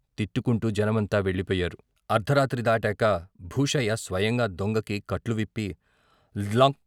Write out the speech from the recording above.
తిట్టుకుంటూ జనమంతా వెళ్ళిపోయారు, అర్ధరాత్రి దాటాక భూషయ్య స్వయంగా దొంగకి కట్లు విప్పి "లం...